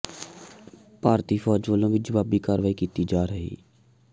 ਭਾਰਤੀ ਫੌਜ ਵਲੋਂ ਵੀ ਜਵਾਬੀ ਕਾਰਵਾਈ ਕੀਤੀ ਜਾ ਰਹੀ